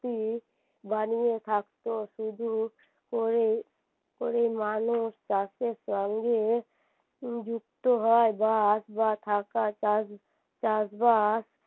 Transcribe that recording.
বানিয়ে থাকতো শুধু করেই করেই মানুষ চাষের সঙ্গে যুক্ত হয় গাছ বা থাকা চাষ চাষ বাদ